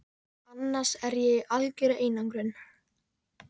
annars er ég í algjörri einangrun.